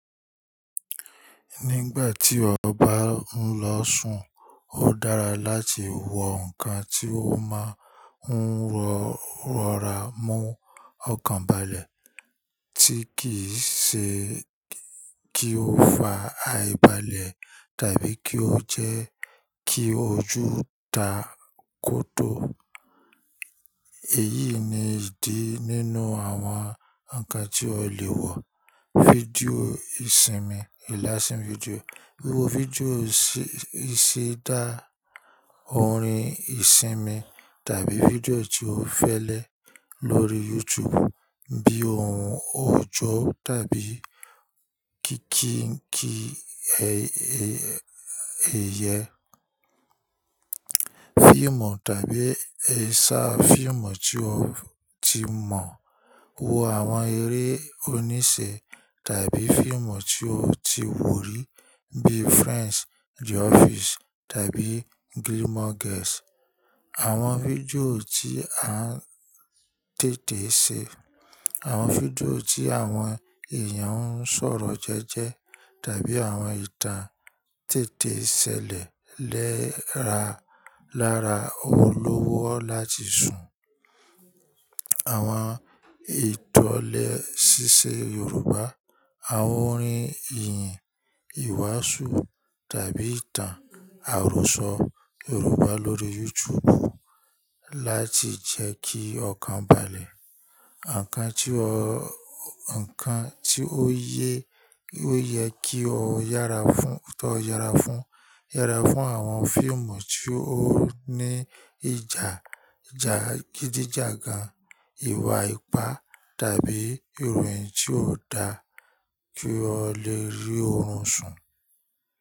Nígbà tí ọ bá ń lọ sùn, ó dára láti wọ nǹkan tí ó máa ń rọ̀rọ̀ rá mú ọkàn balẹ̀ tí kì í ṣe kí ó fa àìbalẹ̀ tàbí kí ó jẹ́ kí ojú ta kótó. Èyí ni ìdí nínú àwọn nǹkan tí o lè wọ̀. Fídíò ìsinmi, ìlásí fídíò. Wo fídíò ìṣe ìṣidá, orin ìsinmi tàbí fídíò tí o fẹ́lẹ́ lórí YouTube bíi ohun ọ̀jọ̀ tàbí kìnkì ẹyẹ. Fíìmù tàbí àṣà fíìmù tí o ti mọ̀. Wo àwọn eré oníṣe tàbí fíìmù tí o ti wò rí bíi Friends, The Office tàbí Gilmore Girls. Àwọn fídíò tí a ń tètè ṣe, àwọn fídíò tí àwọn èèyàn ń sọ̀rọ̀ jẹ́jẹ́ tàbí àwọn ìtàn tètè ṣẹlẹ̀ lẹ́ra lara ọwọ́ lówó láti sùn. Àwọn ìtàn lẹ́sísẹ Yoruba, àwọn orin ìyìn, ìwàásù tàbí ìtàn àròsọ Yoruba lórí YouTube láti jẹ́ kí ọkàn balẹ̀. Ǹkan tí o yẹ kí o yára fún, yára fún àwọn fíìmù tí ó ní ìjà gídíjàgan, ìwà ipá tàbí ìròyìn tí ó dáa tí o lè rí oorun sùn.